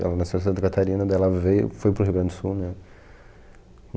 Ela nasceu em Santa Catarina, daí ela veio, foi para o Rio Grande do Sul, né?